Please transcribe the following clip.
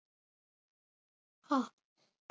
Eiríki varð að ósk sinni.